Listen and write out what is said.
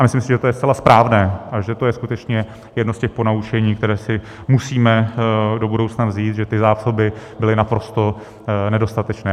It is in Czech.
A myslím si, že je to zcela správné a že to je skutečně jedno z těch ponaučení, které si musíme do budoucna vzít, že ty zásoby byly naprosto nedostatečné.